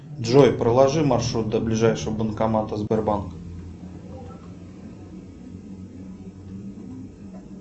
джой проложи маршрут до ближайшего банкомата сбербанка